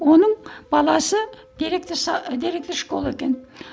оның баласы директор директор школы екен